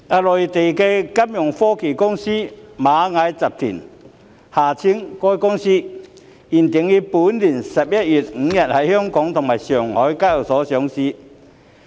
內地金融科技公司螞蟻集團原定於本年11月5日在香港及上海的交易所同步上市。